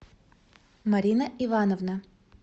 марина ивановна